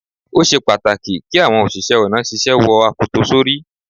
Ó ṣe pàtàkì kí àwọn òṣìṣẹ́ ọ̀nà ṣíṣe wo akoto sórí.